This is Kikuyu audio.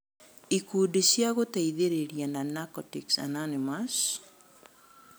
Ikundi cia gũteithĩrĩria ta Narcotics Anonymous